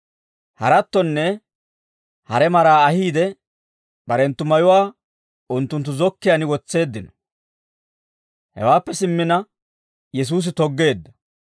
Harattonne hare maraa ahiide, barenttu mayuwaa unttunttu zokkiyaan wotseeddino; hewaappe simmina Yesuusi toggeedda.